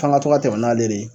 F'an ŋa to ka tɛmɛ n'ale de ye